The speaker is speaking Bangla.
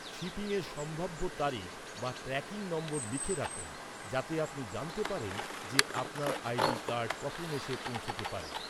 শিপিংয়ের সম্ভাব্য তারিখ বা ট্র্যাকিং নম্বর লিখে রাখুন, যাতে আপনি জানতে পারেন যে, আপনার আইডি কার্ড কখন এসে পৌঁছতে পারে।